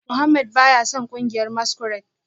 Mohammed baya son kungiyar masquerade